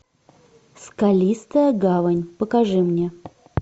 скалистая гавань покажи мне